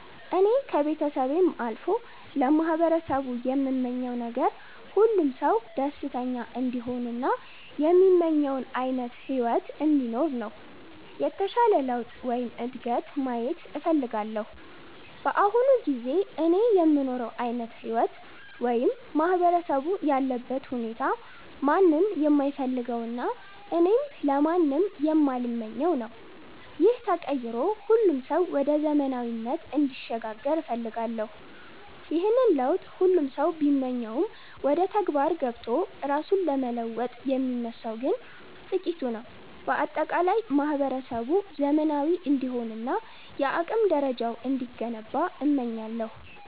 እኔ ከቤተሰቤም አልፎ ለማህበረሰቡ የምመኘው ነገር፣ ሁሉም ሰው ደስተኛ እንዲሆን እና የሚመኘውን ዓይነት ሕይወት እንዲኖር ነው። የተሻለ ለውጥ ወይም እድገት ማየት እፈልጋለሁ። በአሁኑ ጊዜ እኔ የምኖረው ዓይነት ሕይወት ወይም ማህበረሰቡ ያለበት ሁኔታ ማንም የማይፈልገውና እኔም ለማንም የማልመኘው ነው። ይህ ተቀይሮ ሁሉም ሰው ወደ ዘመናዊነት እንዲሸጋገር እፈልጋለሁ። ይህንን ለውጥ ሁሉም ሰው ቢመኘውም፣ ወደ ተግባር ገብቶ ራሱን ለመለወጥ የሚነሳው ግን ጥቂቱ ነው። በአጠቃላይ ማህበረሰቡ ዘመናዊ እንዲሆንና የአቅም ደረጃው እንዲገነባ እመኛለሁ።